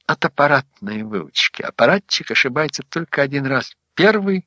от аппаратной выручки аппаратчик ошибается только один раз первый